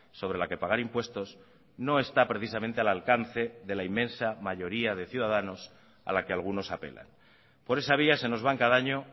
sobre la que pagar impuestos no está precisamente al alcance de la inmensa mayoría de ciudadanos a la que algunos apelan por esa vía se nos van cada año